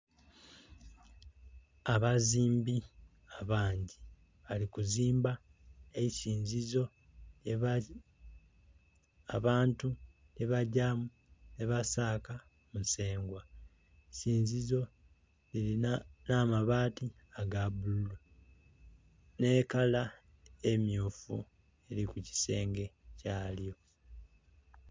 Abazimbi abangi bali kuzimba eisinzizo abantu lye bagyamu nhe basaka musengwa. Eisinzizo lirina amabaati aga bululu nhe kala emyufu eri ku kisenge kya lyo.